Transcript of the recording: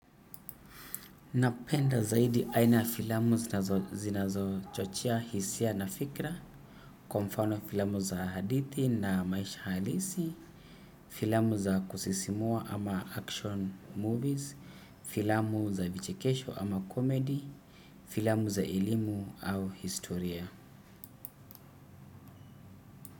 Napenda zaidi aina ya filamu zinazo zinazochochea, hisia na fikra, kwa mfano filamu za hadithi na maisha halisi, filamu za kusisimua ama action movies, filamu za vichekesho ama comedy, filamu za elimu au historia.